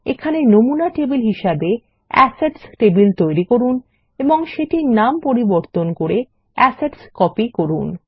এখানে নমুনা তবিল হিসাবে এসেটস টেবিল ব্যবহার করুন এবং এটির নামান্তর করে অ্যাসেটস্কপি করুন